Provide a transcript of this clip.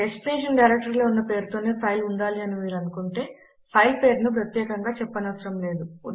destination డైరెక్టరీలో ఉన్న పేరుతోనే ఫైల్ ఉండాలి అని మీరు అనుకుంటే ఫైల్ పేరును ను ప్రత్యేకముగా చెప్పనవసరం లేదు